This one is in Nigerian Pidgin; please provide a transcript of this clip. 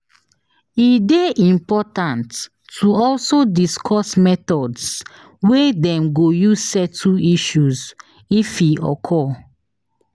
E de important to also discuss methods wey Dem go use settle issues if e occur